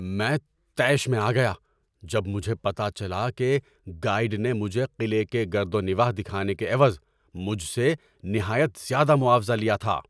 میں طیش میں آ گیا جب مجھے پتہ چلا کہ گائیڈ نے مجھے قلعے کے گرد و نواح دکھانے کے عوض مجھ سے نہایت زیادہ معاوضہ لیا تھا۔